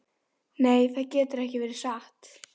Nei, það getur ekki verið satt.